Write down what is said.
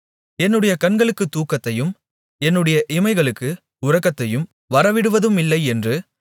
என்னுடைய கண்களுக்குத் தூக்கத்தையும் என்னுடைய இமைகளுக்கு உறக்கத்தையும் வரவிடுவதுமில்லை என்று